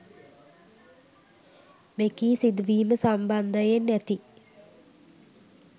මෙකී සිදුවීම සම්බන්ධයෙන් ඇති